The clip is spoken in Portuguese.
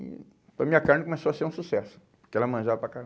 E a minha carne começou a ser um sucesso, porque ela manjava para